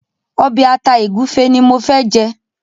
obe ata egufe ní mọ fè jé.